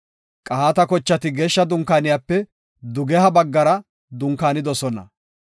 Qahaata kochati Geeshsha Dunkaaniyape dugeha baggara dunkaanidosona.